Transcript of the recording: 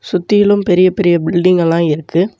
சுத்திலும் பெரிய பெரிய பில்டிங் எல்லா இருக்கு.